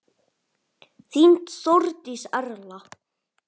Þín Þórdís Erla.